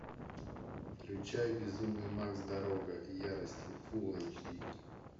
включай безумный макс дорога ярости фулл эйч ди